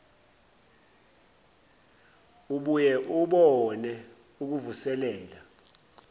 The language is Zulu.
ubuye ubone ukuvuselela